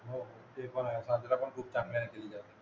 हो ते पण ए पण खूप चांगल्या येतील त्या